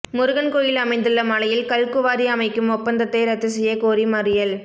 முருகன் கோயில் அமைந்துள்ள மலையில் கல் குவாரி அமைக்கும் ஒப்பந்தத்தை ரத்து செய்யக் கோரி மறியல்